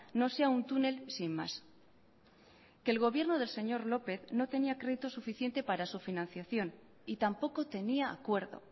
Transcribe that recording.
no sea un túnel sin más que el gobierno del señor lópez no tenía crédito suficiente para su financiación y tampoco tenía acuerdo